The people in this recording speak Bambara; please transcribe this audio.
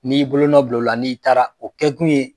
N'i y'i bolonɔ bil'ola n'i taara o kɛ kun ye